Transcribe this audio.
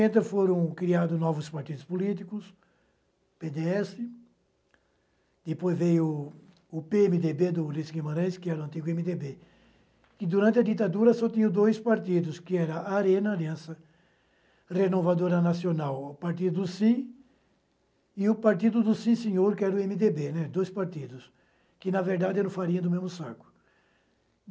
foram criados novos partidos políticos, pê dê esse, depois veio o pê eme dê bê do Ulysses Guimarães, que era o antigo eme dê bê, e durante a ditadura só tinha dois partidos, que era a Arena Aliança Renovadora Nacional, o partido Sim, e o partido do Sim Senhor, que era o eme dê bê, dois partidos, que na verdade eram farinha do mesmo saco.